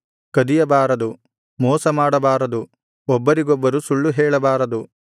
ಕದಿಯಬಾರದು ಮೋಸಮಾಡಬಾರದು ಒಬ್ಬರಿಗೊಬ್ಬರು ಸುಳ್ಳು ಹೇಳಬಾರದು